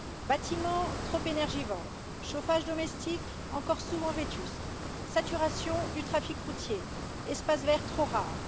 Bâtiments trop énergivores, chauffage domestique encore souvent vétuste, saturation du trafic routier, espaces verts trop rares...